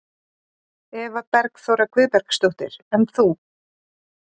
Eva Bergþóra Guðbergsdóttir: En þú?